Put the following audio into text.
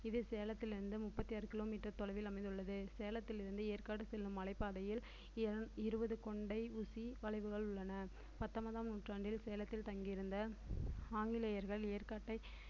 இது சேலத்திலிருந்து முப்பத்தி ஆறு kilometer தொலைவில் அமைந்துள்ளது சேலத்திலிருந்து ஏற்காடு செல்லும் மலைப்பாதையில் இ~ இருபது கொண்டை ஊசி வளைவுகள் உள்ளன பத்தொம்பதாம் நூற்றாண்டில் சேலத்தில் தங்கியிருந்த ஆங்கிலேயர்கள் ஏற்காட்டை